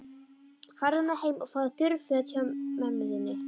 Farðu nú heim og fáðu þurr föt hjá mömmu þinni.